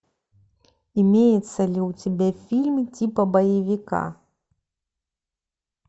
имеется ли у тебя фильм типа боевика